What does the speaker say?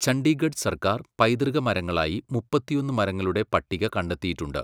ചണ്ഡീഗഡ് സർക്കാർ പൈതൃക മരങ്ങളായി മുപ്പത്തിയൊന്ന് മരങ്ങളുടെ പട്ടിക കണ്ടെത്തിയിട്ടുണ്ട്.